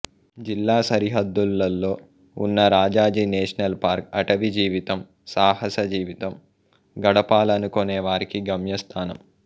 జిల్లా సరిహద్దులలో ఉన్న రాజాజీ నేషనల్ పార్క్ అటవీ జీవితం సాహస జీవితం గడపాలనుకొనే వారికి గమ్యస్థానం